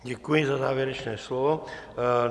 Děkuji za závěrečné slovo.